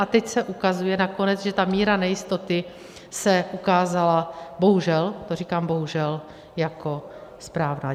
A teď se ukazuje nakonec, že ta míra nejistoty se ukázala bohužel, to říkám bohužel, jako správná.